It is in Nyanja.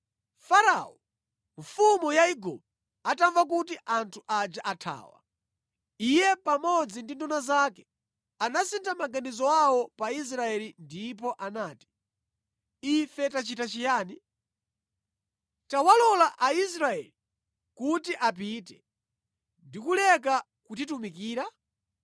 Farao, mfumu ya Igupto atamva kuti anthu aja athawa, iye pamodzi ndi nduna zake anasintha maganizo awo pa Israeli ndipo anati, “Ife tachita chiyani? Tawalola Aisraeli kuti apite ndi kuleka kutitumikira?”